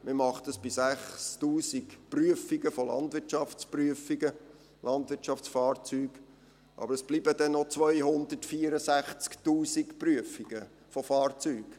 Man macht dies bei 6000 Prüfungen von Landwirtschaftsfahrzeugen, aber es bleiben noch 264’000 Prüfungen von Fahrzeugen.